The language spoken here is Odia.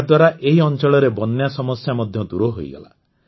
ଏହାଦ୍ୱାରା ଏହି ଅଂଚଳରେ ବନ୍ୟା ସମସ୍ୟା ମଧ୍ୟ ଦୂର ହୋଇଗଲା